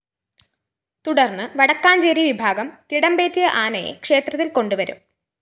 തുടര്‍ന്ന് വടക്കാഞ്ചേരി വിഭാഗം തിടമ്പേറ്റിയ ആനയെ ക്ഷേത്രത്തില്‍ കൊണ്ടുവരും